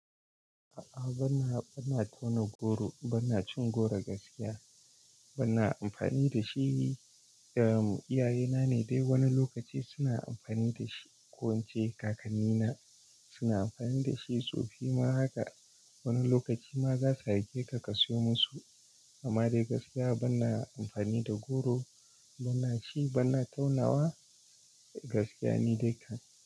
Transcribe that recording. A'a bana, bana tauna goro, bana cin goro gaskiya. Bana amfani da shi. Eh, iyayena ne dai wani lokaci suna amfani da shi ko wance kakannina suna amfani da shi tsofi ma haka. Wani lokaci ma za su aike ka ka sayo musu. Amma dai gaskiya bana amfani da goro, bana ci, bana taunawa gaskiya ni dai kam.